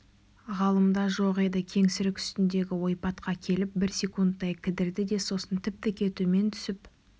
ғалымда жоқ еді кеңсірік үстіндегі ойпатқа келіп бір секундтай кідірді де сосын тіп-тіке төмен түсіп